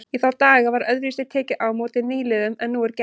Í þá daga var öðruvísi tekið á móti nýliðum en nú er gert.